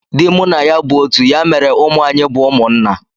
Dị mụ na ya bụ otu ya mere ụmụ anyị bu umunna